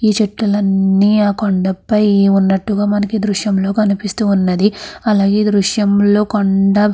ఈ చెట్టులన్నీ ఆ కొండ పై ఉన్నట్టుగా మనకి ఈ దృశ్యం లో కనిపిస్తూ ఉన్నది అలాగే ఈ దృశ్యం లో కొండ.